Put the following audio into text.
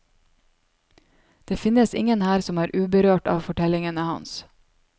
Det finnes ingen her som er uberørt av fortellingen hans.